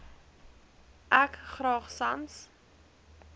ek graag sans